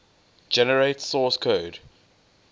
generate source code